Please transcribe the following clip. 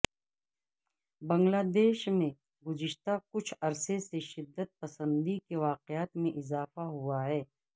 بنگلہ دیش میں گذشتہ کچھ عرصے سے شدت پسندی کے واقعات میں اضافہ ہوا ہے